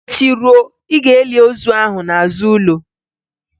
Echi ruo, Ị ga-eli ozu ahụ nọ n'azụ ụlọ